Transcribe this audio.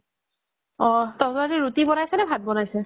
তহঁতৰ আজি ৰুটি বনাইছে নে ভাত বনাইছে